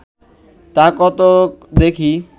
তা ক ত দেখি